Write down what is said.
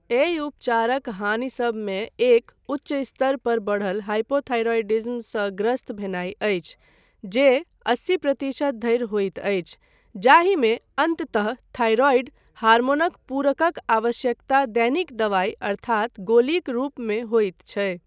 एहि उपचारक हानिसबमे एक, उच्च स्तर पर बढ़ल हाइपोथायरायडिज्मसँ ग्रस्त भेनाइ अछि जे अस्सी प्रतिशत धरि होइत अछि जाहिमे अन्ततः थाइरॉइड हार्मोनक पूरकक आवश्यकता दैनिक दवाइ अर्थात गोलीक रूपमे होइत छै।